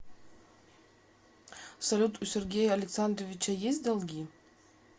салют у сергея александровича есть долги